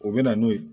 O bɛ na n'o ye